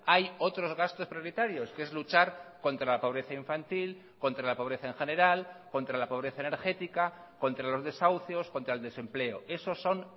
hay otros gastos prioritarios que es luchar contra la pobreza infantil contra la pobreza en general contra la pobreza energética contra los desahucios contra el desempleo esos son